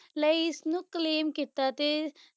ਲਈ ਇਸਨੂੰ claim ਕੀਤਾ ਤੇ